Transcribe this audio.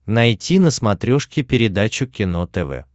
найти на смотрешке передачу кино тв